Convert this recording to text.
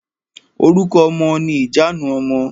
Orúkọ ọmọ ni ìjanu ọmọ.